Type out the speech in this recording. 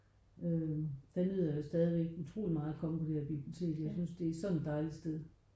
Øh der nyder jeg stadigvæk utrolig meget at komme på det her bibliotek. Jeg synes det er sådan et dejligt sted